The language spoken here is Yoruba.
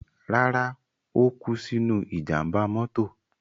Rárá, ó kú sínú ìjàmbá mọ́tò.